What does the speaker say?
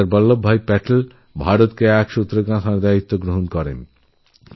সর্দার বল্লভভাই প্যাটেল ভারতকে এক সূত্রেগাঁথার কাজ করেছিলেন